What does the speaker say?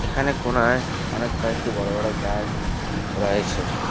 এখানে কোণায় অনেক কয়েকটি বড়ো বড়ো গাছ রয়েছে।